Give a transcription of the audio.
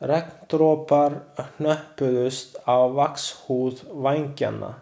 Regndropar hnöppuðust á vaxhúð vængjanna.